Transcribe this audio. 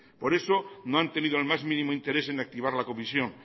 por eso no han tenido el más mínimo interés en activar la comisión